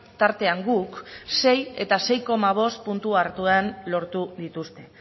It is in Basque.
tartean guk sei eta sei koma bost puntu hartu den lortu dituzte